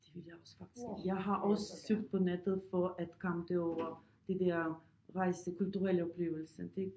Det vil jeg også faktisk jeg har også søgt på nettet for at komme derover det der rejse kulturelle oplevelser det